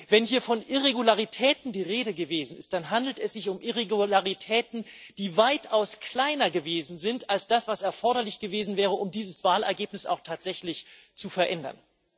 Wenn hier von Irregularitäten die Rede gewesen ist, dann handelt es sich um Irregularitäten, die weitaus kleiner gewesen sind als das, was erforderlich gewesen wäre, um dieses Wahlergebnis auch tatsächlich zu verändern.